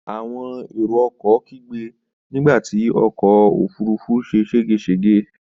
Àwọn èrò-ọkọ̀ kígbe nígbà tí ọkọ̀-òfurufú ṣe ṣégeṣège.